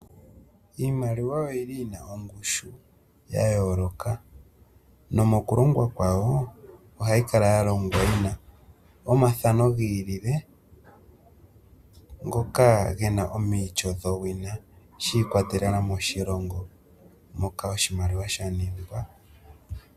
Iimiliwa oyi li yi na ongushu ya yooloka nomokulongwa kwawo, ohayi kala yalongwa yi na omafano giilile ngoka gena omiityo dhowina shiikwatelela moshilongo moka oshimaliwa sha ningwa.